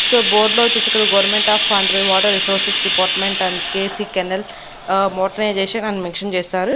So బోర్డులో వచ్చేసి ఇక్కడ government of Andhra water resources department and K C canal ఆ మోటరైజేషన్ అని మెన్షన్ చేశారు.